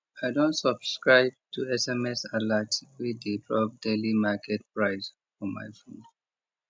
i don subscribe to sms alert wey dey drop daily market price for my phone